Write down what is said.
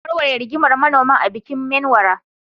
Za a warware rigimar manoman a bikin Menwara.